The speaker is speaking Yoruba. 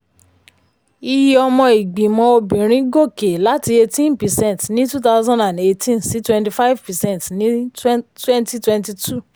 iye ọmọ ìgbìmọ̀ obìnrin gòkè láti eighteen percent ní twenty eighteen sí twenty five percent ní twenty twenty two.